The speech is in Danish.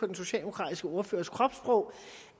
den socialdemokratiske ordførers kropssprog